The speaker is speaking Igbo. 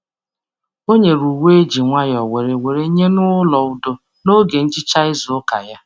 Ọ nyere uwe ejirila nwayọọ na ebe obibi n’oge nhicha izu ụka ya.